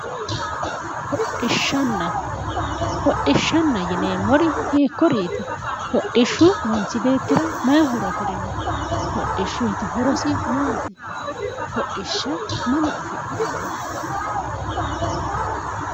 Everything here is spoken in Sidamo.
Hodhishshanna hodhishanna yineemmori hiikkuriiti? Hodhishshu manchi beettira mayi horo afirino? Hodhishshuyiti horosi maati? Hodhishsha mama afi'neemmo?